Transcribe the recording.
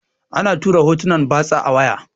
ana tura hotunan batsa a waya